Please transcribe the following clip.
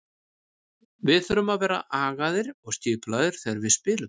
Við þurfum að vera agaðir og skipulagðir þegar við spilum.